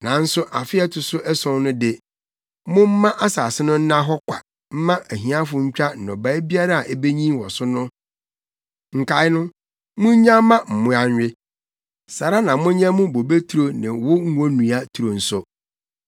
nanso afe a ɛto so ason so de, momma asase no nna hɔ kwa mma ahiafo ntwa nnɔbae biara a ebenyin wɔ so no; nkae no, munnyaw mma mmoa nwe. Saa ara na monyɛ mo bobeturo ne wo ngonnua turo nso.